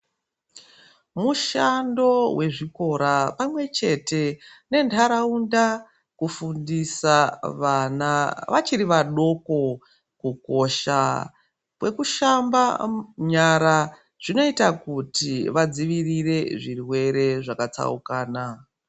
Mushando wezvikora pamwechete nendharawunda, kufundisa vana vachirivadoko. Kukosha kwekushamba nyara zvinoita kuti vadzivirire zvirwere zvakatsaukana.